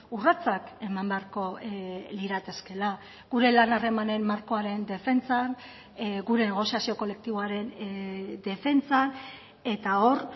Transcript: urratsak eman beharko liratekeela gure lan harremanen markoaren defentsan gure negoziazio kolektiboaren defentsan eta hor